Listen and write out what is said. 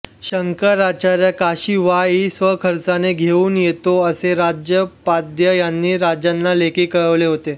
शंकराचार्य काशी वाई इ स्वखर्चाने घेऊन येतो असे राजोपाध्ये यांनी राजांना लेखी कळवले होते